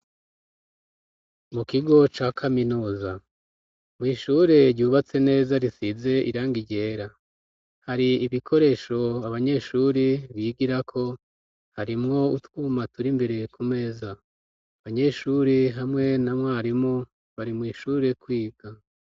Mu kigo ca kaminuza mwishure ryubatse neza risize iranga iryera hari ibikoresho abanyeshuri bigirako harimwo utwuma tura imbere ku meza abanyeshuri hamwe na mwarimu bari mw'ishure kwiga.